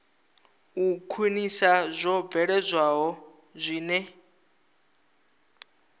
u khwinisa zwo bveledzwaho zwine